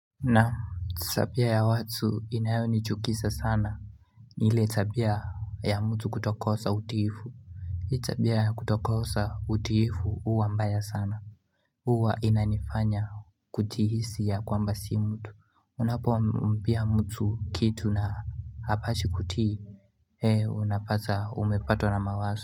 Naam tabia ya watu inayonichukisa sana ni ile tabia ya mtu kutokosa utiifu Hii tabia ya kutokosa utiifu huwa mbaya sana Huwa inanifanya kujihisi ya kwamba si mtu Unapompea mtu kitu na hapashi kutii unapata umepatwa na mawazo.